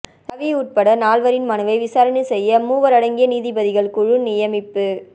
ரவி உட்பட நால்வரின் மனுவை விசாரணை செய்ய மூவரடங்கிய நீதிபதிகள் குழு நியமிப்பு